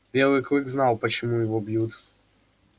белый клык знал почему его бьют